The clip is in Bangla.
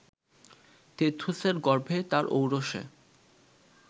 তেথুসের গর্ভে তার ঔরসে